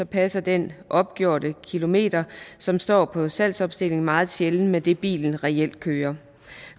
passer den opgjorte kilometer som står på salgsopstillingen meget sjældent med det bilen reelt kører